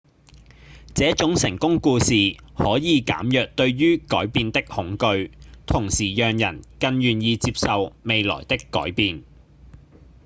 這種成功故事可以減弱對於改變的恐懼同時讓人更願意接受未來的改變